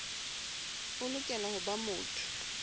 o lokela ho ba motho